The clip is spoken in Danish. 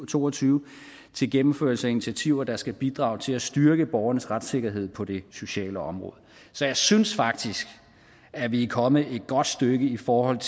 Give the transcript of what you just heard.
to og tyve til gennemførelse af initiativer der skal bidrage til at styrke borgernes retssikkerhed på det sociale område så jeg synes faktisk at vi er kommet et godt stykke i forhold